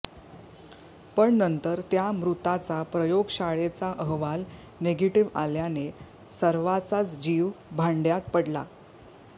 पण नंतर त्या मृताचा प्रयोगशाळेचा अहवाल निगेटीव्ह आल्याने सर्वाचाच जीव भांडय़ात पडला